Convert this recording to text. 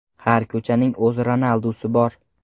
Har ko‘chaning o‘z Ronaldusi bor!